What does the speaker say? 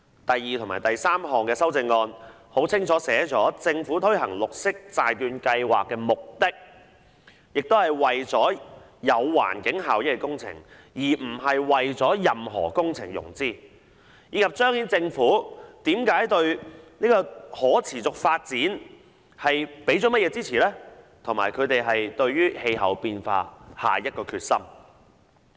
第二項和第三項修訂議案清楚訂明政府推行綠色債券計劃的目的是為了進行有環境效益的工程，而不是為任何工程融資，以及彰顯政府對可持續發展的支持和應對氣候變化的決心。